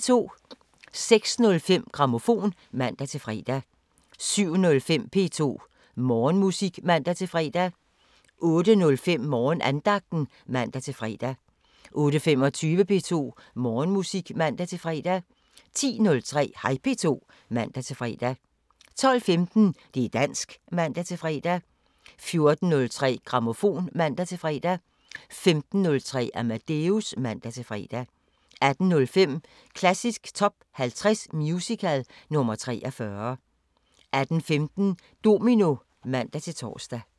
06:05: Grammofon (man-fre) 07:05: P2 Morgenmusik (man-fre) 08:05: Morgenandagten (man-fre) 08:25: P2 Morgenmusik (man-fre) 10:03: Hej P2 (man-fre) 12:15: Det´ dansk (man-fre) 14:03: Grammofon (man-fre) 15:03: Amadeus (man-fre) 18:05: Klassisk Top 50 Musical – nr. 43 18:15: Domino (man-tor)